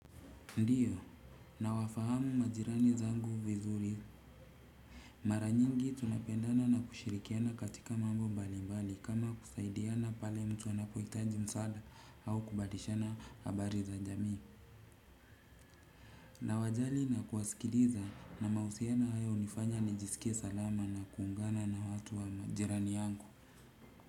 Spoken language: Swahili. Ndiyo, nawafahamu majirani zangu vizuri. Mara nyingi tunapendana na kushirikiana katika mambo mbali mbali kama kusaidiana pale mtu anapohitaji msaada au kubadishana habari za jamii. Nawajali na kuwasikiliza na mahusiano haya hunifanya nijisikie salama na kuungana na watu wa majirani yangu.